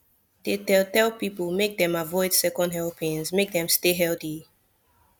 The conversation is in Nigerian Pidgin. dey tell tell people make dem avoid second helpings make dem stay healthy